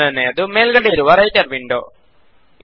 ಮೊದಲನೆಯದು ಮೇಲ್ಗಡೆ ಇರುವ ರೈಟರ್ ವಿಂಡೋ